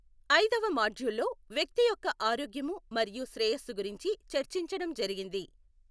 అయిదవ మాడ్యుల్లో వ్యక్తి యొక్క ఆరోగ్యము మరియు శ్రేయస్సు గురించి చర్చించడం జరిగింది.